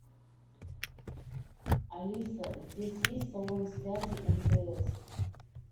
алиса здесь есть салон связи мтс